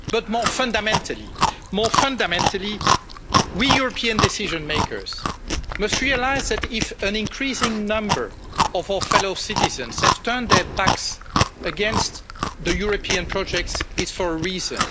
But more fundamentally, we European decision makers must realise that, if an increasing number of our fellow citizens have turned their backs against the European project, it's for a reason.